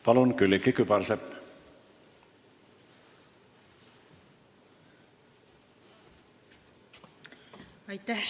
Palun, Külliki Kübarsepp!